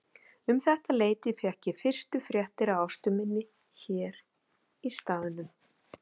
Um þetta leyti fékk ég fyrstu fréttir af Ástu minni hér í staðnum.